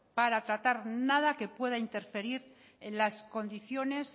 para tratar nada que pueda interferir en las condiciones